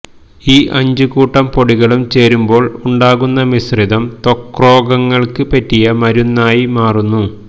ഈ അഞ്ചുകൂട്ടം പൊടികളും ചേരുമ്പോൾ ഉണ്ടാകുന്ന മിശ്രിതം ത്വക്രോഗങ്ങൾക്ക് പറ്റിയ മരുന്നായിമാറുന്നു